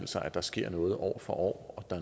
sig at der sker noget år for år og